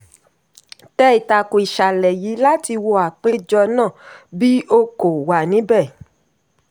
tẹ ìtàkùn ìṣàlẹ̀ yìí láti wo apèjọ náà bí o kò wà níbẹ̀.